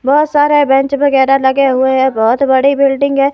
बहोत सारे बेंच वगैरा लगे हुए हैं। बहोत बड़ी बिल्डिंग है।